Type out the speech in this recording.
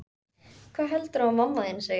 Hvað heldurðu að mamma þín segi?